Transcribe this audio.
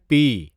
پی